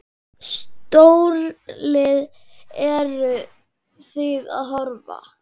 Stórlið, eru Þið að horfa?